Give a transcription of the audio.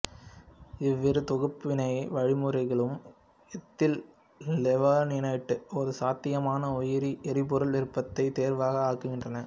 இவ்விரு தொகுப்பு வினை வழிமுறைகளும் எத்தில் லெவலினேட்டை ஒரு சாத்தியமான உயிரி எரிபொருள் விருப்பத் தேர்வாக ஆக்குகின்றன